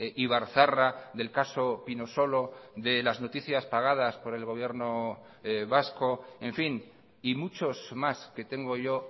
ibarzarra del caso pinosolo de las noticias pagadas por el gobierno vasco en fin y muchos más que tengo yo